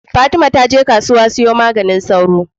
fatima taje kasuwa ta siya maganin sauro